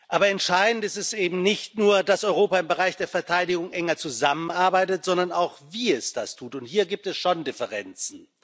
Aber entscheidend ist eben nicht nur, dass Europa im Bereich der Verteidigung enger zusammenarbeitet, sondern auch wie es das tut, und hier gibt es schon Differenzen.